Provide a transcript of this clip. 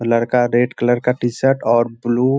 लड़का red colour का T-shirt और ब्लू --